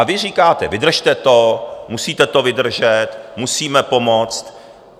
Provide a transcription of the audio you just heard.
A vy říkáte: Vydržte to, musíte to vydržet, musíme pomoct.